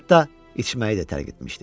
Hətta içməyi də tərk etmişdi.